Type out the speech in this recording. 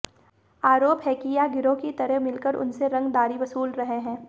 आरोप है कि यह गिरोह की तरह मिलकर उनसे रंगदारी वसूल रहे हैं